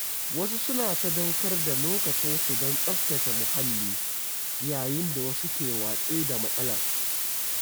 Wasu suna sadaukar da lokacinsu don tsaftace mahalli, yayin da wasu ke watsi da matsalar.